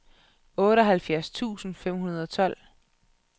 otteoghalvfjerds tusind fem hundrede og tolv